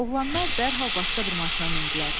Oğlanlar dərhal başqa bir maşına mindilər.